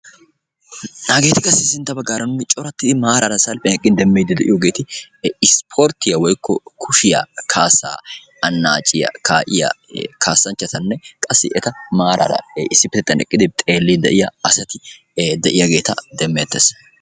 Hageti sintta baggaara corattidi nuun salppiyaan eqqidi demmidi de'iyooheeti ispporttiya woykko kushiyaa anacciya kaa'iyaa kaassanchchatanne qassi eta maaraara issippetettan eqqidi xeelidi de'iyaa asata de'iyaageeta demettees.